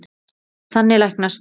Þannig læknast